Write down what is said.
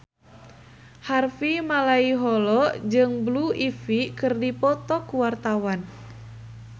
Harvey Malaiholo jeung Blue Ivy keur dipoto ku wartawan